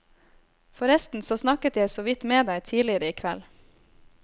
Forresten så snakket jeg såvidt med deg tidligere i kveld.